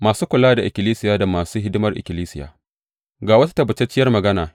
Masu kula da ikkilisiya da masu hidimar ikkilisiya Ga wata tabbatacciyar magana.